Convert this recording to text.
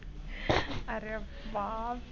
अरे बापरे